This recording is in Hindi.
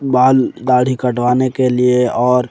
बाल दाढ़ी कटवाने के लिए और--